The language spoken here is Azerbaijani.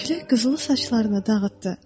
Külək qızılı saçlarını dağıtdı.